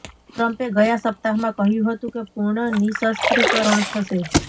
ટ્રમ્પે ગયા સપ્તાહમાં કહ્યું હતું કે પૂર્ણ નિઃશસ્ત્રીકરણ થશે